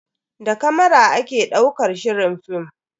Da kamara ake daukar shirin film.